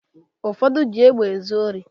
Ụfọdụ ji egbe ezu ori